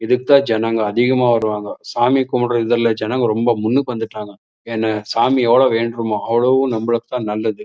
இதுக்கு தான் ஜனங்க அதிகமா வருவாங்க சாமிய கும்டுரதுல ஜனங்க ரொம்ப முன்னுக்கு வந்துட்டாங்க ஏனா சாமிய எவ்ளோ வேன்றோமோ அவ்ளோவு நம்மலுக்கு தான் நல்லது.